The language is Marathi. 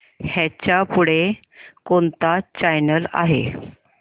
ह्याच्या पुढे कोणता चॅनल आहे